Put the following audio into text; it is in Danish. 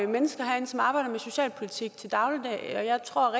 mennesker herinde som arbejder med socialpolitik til daglig og jeg tror